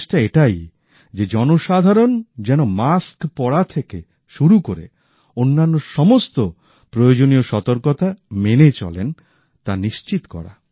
প্রচেষ্টা এটাই যে জনসাধারণ যেন মাস্ক পরা থেকে শুরু করে অন্যান্য সমস্ত প্রয়োজনীয় সতর্কতাঃ মেনে চলেন তা নিশ্চিত করা